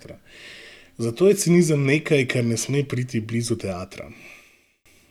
Zato je cinizem nekaj, kar ne sme priti blizu teatra.